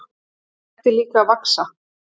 Hann hætti líka að vaxa.